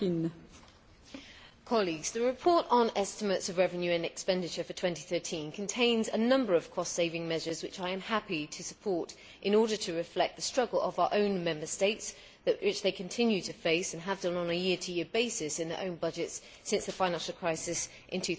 Madam President, the report on estimates of revenue and expenditure for 2013 contains a number of cost saving measures which I am happy to support in order to reflect the struggle of our own Member States, which they continue to face and have done on a year to year basis in their own budgets since the financial crisis in